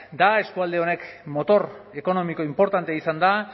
da eskualde hau motor ekonomiko inportantea izan da